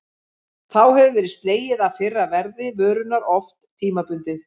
Þá hefur verið slegið af fyrra verði vörunnar, oft tímabundið.